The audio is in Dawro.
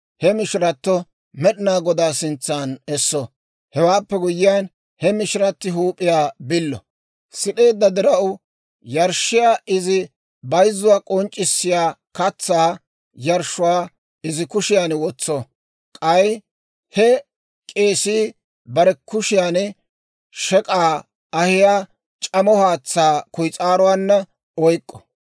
He mishiratto Med'inaa Godaa sintsan esso; hewaappe guyyiyaan, he mishiratti huup'iyaa billo; sid'eedda diraw yarshshiyaa izi bayzzuwaa k'onc'c'issiyaa katsaa yarshshuwaa izi kushiyan wotso; k'ay he k'eesii bare kushiyan shek'k'aa ahiyaa c'amo haatsaa kuyis'aaruwaanna oyk'k'o.